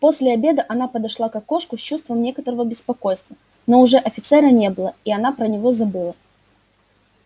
после обеда она подошла к окошку с чувством некоторого беспокойства но уже офицера не было и она про него забыла